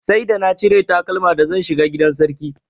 Sai da na cire takalma da zan shiga gidan sarki.